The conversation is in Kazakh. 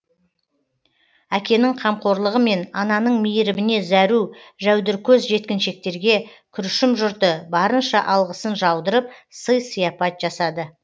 әкенің қамқорлығы мен ананың мейіріміне зәру жәудіркөз жеткіншектерге күршім жұрты барынша алғысын жаудырып сый сияпат жасады